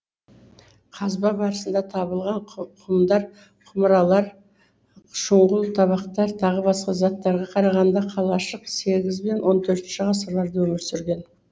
қазба барысында табылған құмдар құмыралар шұңғыл табақтар тағы басқа заттарға қарағанда қалашық сегіз бен он төртінші ғасырларда өмір сүрген